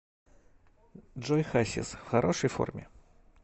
джой хасис в хорошей форме